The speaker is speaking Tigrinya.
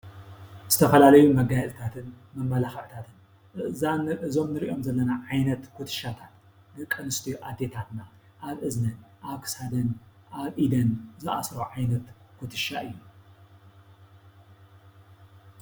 ዝተፈላለዩ መጋየፅታትን መመላክዕታትን እዞም እንርእዮም ዘለና ዓይነት ኩትሻ ደቂ ኣንስትዮ ኣዴታትና ኣብ እዝነን ኣብ ክሳደን ኣብ ኢደን ዝኣስርኦ ዓይነት ኩትሻ እዩ።